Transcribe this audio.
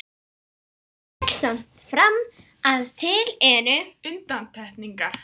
Tek samt fram að til eru undantekningar.